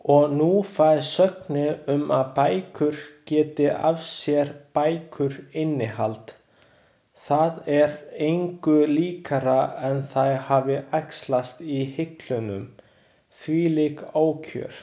Og nú fær sögnin um að bækur geti af sér bækur innihald, það er engu líkara en þær hafi æxlast í hillunum, þvílík ókjör.